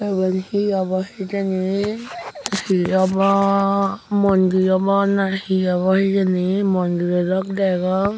eban he obow hejani he obow mondir obow na he obow hejani mondirow dok dagong.